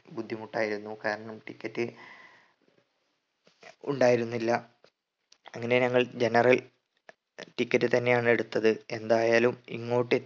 ബുദ്ധിമുട്ടായിരുന്നു കാരണം ticket ഉണ്ടായിരുന്നില്ല അങ്ങനെ ഞങ്ങൾ generalticket തന്നെയാണ് എടുത്തത് എന്തായാലും ഇങ്ങോട്ട്